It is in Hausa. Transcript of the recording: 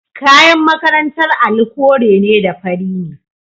Kayan makarantar Ali kore da fari ne.